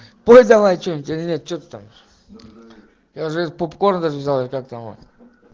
пой давай что-нибудь или нет что ты там я уже попкорн даже взял или как там он